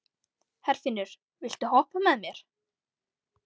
Herfinnur, viltu hoppa með mér?